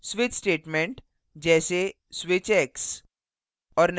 switch statement जैसेswitch x